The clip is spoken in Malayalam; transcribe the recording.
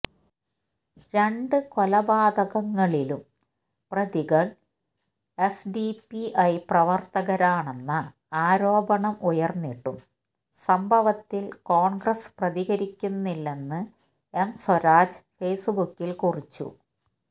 രണ്ട് കൊലപാതകങ്ങളിലും പ്രതികള് എസ്ഡിപിഐ പ്രവര്ത്തകരാണെന്ന ആരോപണം ഉയര്ന്നിട്ടും സംഭവത്തില് കോണ്ഗ്രസ് പ്രതികരിക്കുന്നില്ലെന്ന് എം സ്വരാജ് ഫേസ്ബുക്കില് കുറിച്ചു